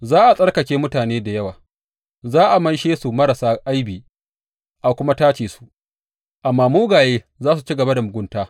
Za a tsarkake mutane da yawa, za a maishe su marasa aibi a kuma tace su; amma mugaye za su ci gaba da mugunta.